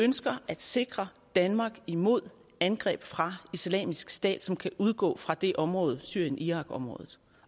ønsker at sikre danmark imod angreb fra islamisk stat som kan udgå fra det område syrien irak området